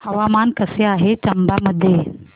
हवामान कसे आहे चंबा मध्ये